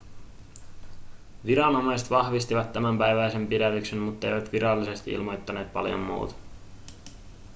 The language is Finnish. viranomaiset vahvistivat tämänpäiväisen pidätyksen mutteivät virallisesti ilmoittaneet paljon muuta